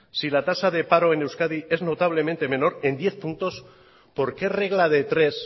si la tasa de paro en euskadi es notablemente menor en diez puntos por qué regla de tres